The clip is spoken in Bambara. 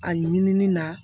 A ɲinini na